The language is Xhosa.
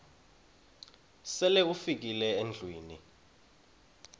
sele ufikile endlwini